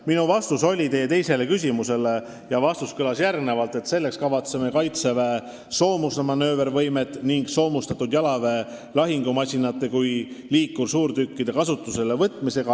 Minu vastus teie teisele küsimusele kõlas järgmiselt: "Selleks kasvatame Kaitseväe soomusmanöövervõimet nii soomustatud jalaväe lahingumasinate kui ka liikursuurtükkide kasutuselevõtuga.